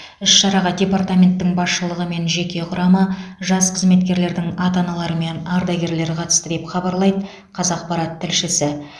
іс шараға департаменттің басшылығы мен жеке құрамы жас қызметкерлердің ата аналары мен ардагерлер қатысты деп хабарлайды қазақпарат тілшісі